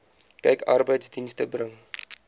kyk arbeidsdienste bring